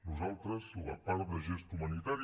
nosaltres la part de gest humanitari